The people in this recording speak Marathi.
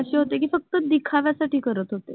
अशे होते कि फक्त दिखाव्या साठी करत होते